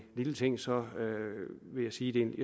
lille ting så vil jeg sige